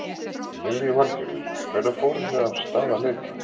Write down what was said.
Lillý Valgerður: Hvenær fóruð þið af stað að leita?